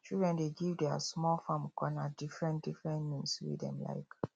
children dey give their small farm corner differentdifferent names wey dem like